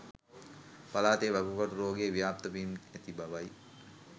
පළාතේ වකුගඩු රෝගය ව්‍යාප්ත වෙමින් ඇති බවයි.